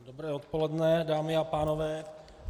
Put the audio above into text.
Dobré odpoledne, dámy a pánové.